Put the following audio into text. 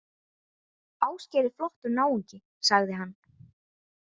Ásgeir er flottur náungi, sagði hann.